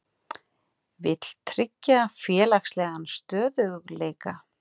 Vill tryggja félagslegan stöðugleika